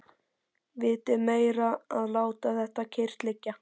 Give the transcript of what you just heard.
Vitið meira að láta þetta kyrrt liggja.